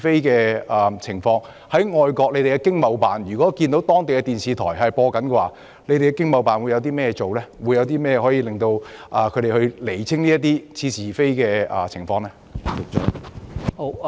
當駐外國的經貿辦看到當地電視台播出這類似是而非的報道時，會採取甚麼行動釐清相關情況呢？